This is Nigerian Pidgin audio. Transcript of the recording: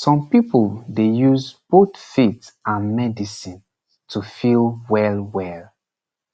some people dey use both faith and medicine to feel wellwell